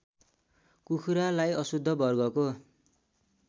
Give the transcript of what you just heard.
कुखुरालाई अशुद्ध वर्गको